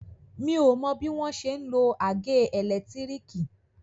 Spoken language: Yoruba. Mi ò o mọ bọ́n ṣe ń lo àgé ẹ̀lẹ́tírìkì.